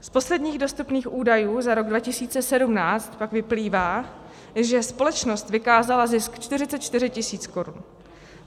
Z posledních dostupných údajů za rok 2017 pak vyplývá, že společnost vykázala zisk 44 tisíc korun.